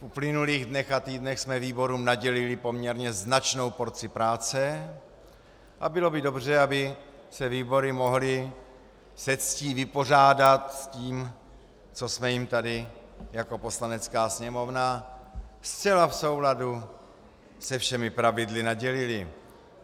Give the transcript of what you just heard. V uplynulých dnech a týdnech jsme výborům nadělili poměrně značnou porci práce a bylo by dobře, aby se výbory mohly se ctí vypořádat s tím, co jsme jim tady jako Poslanecká sněmovna zcela v souladu se všemi pravidly nadělili.